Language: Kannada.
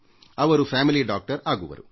ಅವರು ನಿಮ್ಮ ಕುಟುಂಬದ ವೈದ್ಯರು